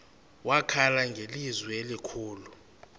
wakhala ngelizwi elikhulu